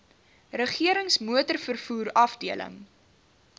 regerings motorvervoer afdeling